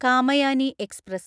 Kamayani express